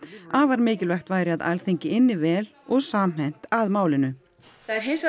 afar mikilvægt væri að Alþingi ynni vel og samhent að málinu það er hins vegar